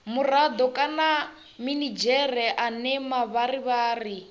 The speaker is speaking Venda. murado kana minidzhere ane mavharivhari